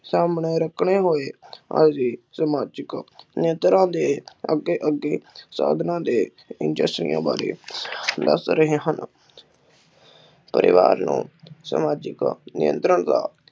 ਰੱਖਣੇ ਹੋਏ ਹਾਜ਼ੀ ਸਮਾਜਿਕ ਨਿਯੰਤ੍ਰਾ ਦੇ ਅੱਗੇ ਅੱਗੇ ਸਾਧਨਾ ਦੇ ਬਾਰੇ ਦਸ ਰਹੇ ਹਨ। ਪਰਿਵਾਰ ਨੂੰ ਸਮਾਜਿਕ ਨਿਯੰਤ੍ਰਣ ਦਾ,